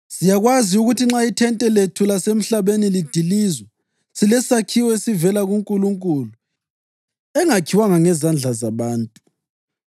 Siyakwazi ukuthi nxa ithente lethu lasemhlabeni lidilizwa, silesakhiwo esivela kuNkulunkulu, indlu yaphakade ezulwini, engakhiwanga ngezandla zabantu.